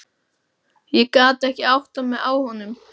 Ég gat ekki áttað mig á honum.